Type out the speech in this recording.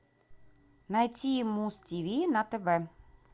найти муз тв на тв